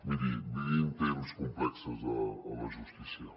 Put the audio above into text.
miri vivim temps complexos a la justícia